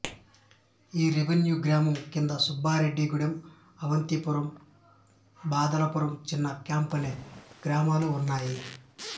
ఈ రెవెన్యూ గ్రామం కింద సుబ్బారెడ్డి గూడెం అవంతీపురం బాదలపురం చిన్న క్యాంప్ అనే గ్రామాలు ఉన్నాయి